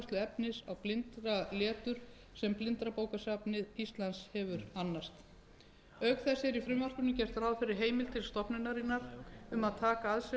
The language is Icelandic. og yfirfærslu efnis á blindraletur sem blindrabókasafn íslands hefur annast auk þess er í frumvarpinu gert ráð fyrir heimild til stofnunarinnar um að taka að sér